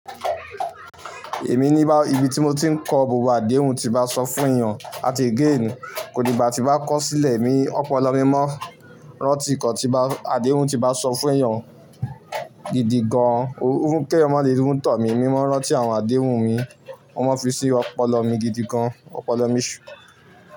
Èmi ní bá, ibi tí mo ti ń kọ gbogbo àdéhùn tí bá sọ fún èèyàn àti again, kò dígbà tí bá kọ sílẹ̀ mi, ọpọlọ mi mọ́ rántí ǹkan tí bá, àdéhùn tí bá sọ fún èèyàn gidi gan-an. Ó ń kẹ́ mó lè tọ̀ mí, mí mọ́ rántí àwọn àdéhùn mi, mo máa ń fi sí ọpọlọ mi gidi gan-an. Ọpọlọ mi ṣú.